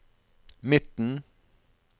midten